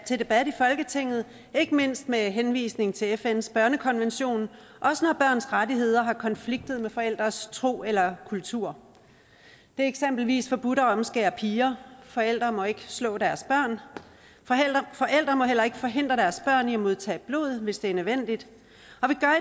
til debat i folketinget ikke mindst med henvisning til fns børnekonvention og også når børns rettigheder har konfliktet med forældres tro eller kultur det er eksempelvis forbudt at omskære piger forældre må ikke slå deres børn forældre må heller ikke forhindre deres børn i at modtage blod hvis det er nødvendigt